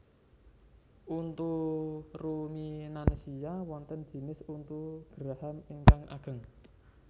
Untu ruminansia wonten jinis untu geraham ingkang ageng